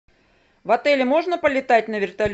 в отеле можно полетать на вертолете